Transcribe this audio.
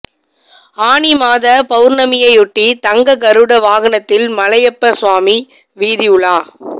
ஆனி மாத பவுர்ணமியையொட்டி தங்க கருட வாகனத்தில் மலையப்ப சுவாமி வீதி உலா